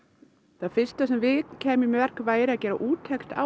það fyrsta sem við kæmum í verk væri að gera úttekt á